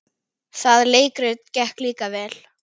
Það leikrit gekk líka vel.